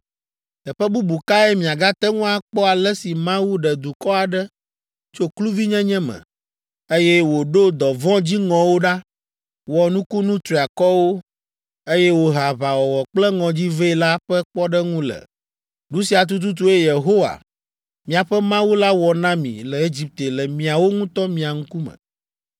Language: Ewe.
Teƒe bubu kae miagate ŋu akpɔ ale si Mawu ɖe dukɔ aɖe tso kluvinyenye me, eye wòɖo dɔvɔ̃ dziŋɔwo ɖa, wɔ nukunu triakɔwo, eye wòhe aʋawɔwɔ kple ŋɔdzi vɛ la ƒe kpɔɖeŋu le? Nu sia tututue Yehowa, miaƒe Mawu la wɔ na mi le Egipte le miawo ŋutɔ mia ŋkume.